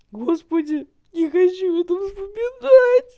господи не хочу убеждать